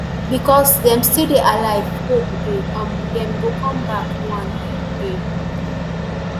becos dem still dey alive [hope dey] um dem go come back one um day